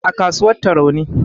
A kasuwar Tarauni